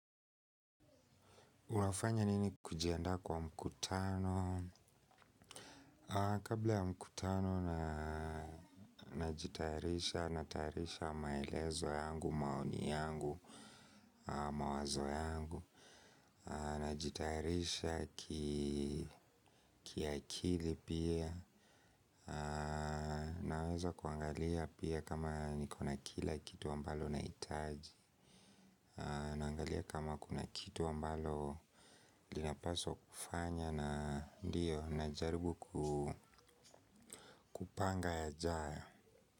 Unafanya nini kujiandaa kwa mkutano? Kabla ya mkutano najitayarisha, natayarisha maelezo yangu, maoni yangu, mawazo yangu. Najitayarisha kiakili pia. Naweza kuangalia pia kama niko na kila kitu ambalo naitaji. Naangalia kama kuna kitu ambalo linapaswa kufanya. Na ndio najaribu kupanga yajayo.